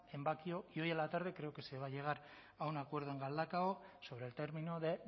en bakio y hoy a la tarde creo que se va a llegar a un acuerdo en galdakao sobre el término de